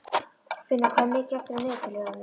Finna, hvað er mikið eftir af niðurteljaranum?